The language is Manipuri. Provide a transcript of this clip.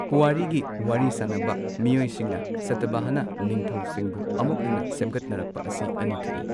ꯄꯨꯋꯥꯔꯤꯒꯤ ꯋꯥꯔꯤ ꯁꯥꯅꯕ ꯃꯤꯑꯣꯏꯁꯤꯡꯅ ꯁꯇꯚꯍꯅ ꯅꯤꯡꯊꯧꯁꯤꯡꯕꯨ ꯑꯃꯨꯛ ꯍꯟꯅ ꯁꯦꯝꯒꯠꯅꯔꯛꯄ ꯑꯁꯤ ꯑꯅꯤ ꯊꯣꯛꯏ꯫